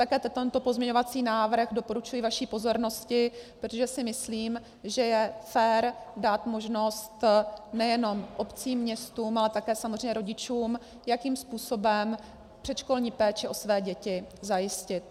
Také tento pozměňovací návrh doporučuji vaší pozornosti, protože si myslím, že je fér dát možnost nejenom obcím, městům, ale také samozřejmě rodičům, jakým způsobem předškolní péči o své děti zajistit.